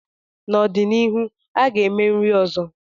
N'ọdịnihu, a ga-eme nri ọzọ.